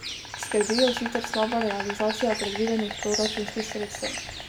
Skrbi jo sicer slaba realizacija predvidenih proračunskih sredstev.